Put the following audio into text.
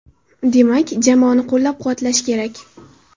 Demak, jamoani qo‘llab-quvvatlash kerak.